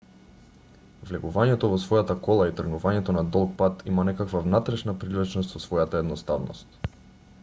влегувањето во својата кола и тргнувањето на долг пат има некаква внатрешна привлечност со својата едноставност